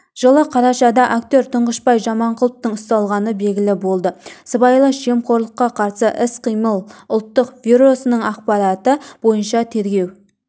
жылы қарашада актертұңғышбай жаманқұловтың ұсталғаны белгілі болды сыбайлас жемқорлыққа қарсы іс-қимыл ұлттық бюросының ақпараты бойынша тергеу